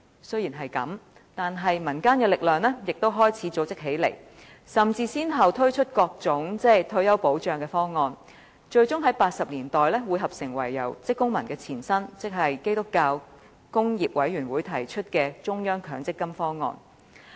雖然如此，民間力量亦開始結集起來，先後推出各種退休保障方案，最終在1980年代匯合成由香港職工會聯盟的前身提出的中央公積金方案。